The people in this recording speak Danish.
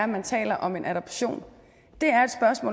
man taler om en adoption det